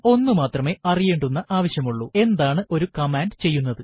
ഒന്നുമാത്രമേ അറിയേണ്ടുന്ന ആവശ്യമുള്ളൂ എന്താണ് ഒരു കമാൻഡ് ചെയ്യുന്നത്